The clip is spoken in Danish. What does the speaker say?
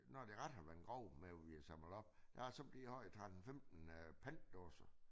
Når det ret har været grov med hvad vi har samlet op der har så blevet har jeg 13 15 øh pantdåser